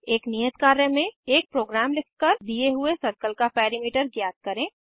एक नियत कार्य में एक प्रोग्राम लिखकर दिए हुए सर्कल का पेरिमीटर ज्ञात करें